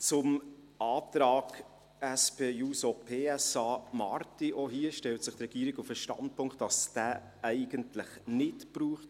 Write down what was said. Zum Antrag Marti, SP-JUSO-PSA: Auch hier stellt sich die Regierung auf den Standpunkt, dass es diesen eigentlich nicht braucht.